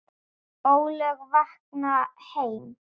ólög vakna heima.